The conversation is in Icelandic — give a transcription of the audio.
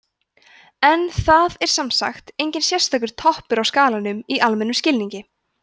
en það er sem sagt enginn sérstakur „toppur á skalanum“ í almennum skilningi